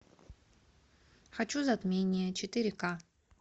хочу затмение четыре ка